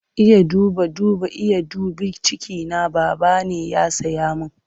Iya duba duba, Iya dubi cikina, Baba ne ya saya min.